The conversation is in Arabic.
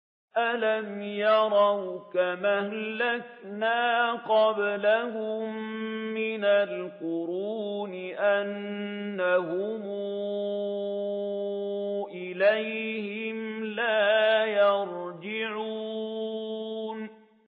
أَلَمْ يَرَوْا كَمْ أَهْلَكْنَا قَبْلَهُم مِّنَ الْقُرُونِ أَنَّهُمْ إِلَيْهِمْ لَا يَرْجِعُونَ